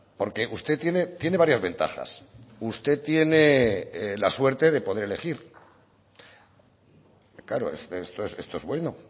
porque usted tiene varias ventajas usted tiene la suerte de poder elegir claro esto es bueno